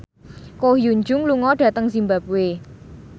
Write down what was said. Ko Hyun Jung lunga dhateng zimbabwe